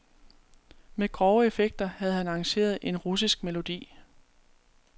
Med grove effekter havde han arrangeret en russisk melodi.